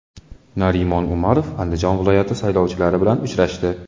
Narimon Umarov Andijon viloyati saylovchilari bilan uchrashdi.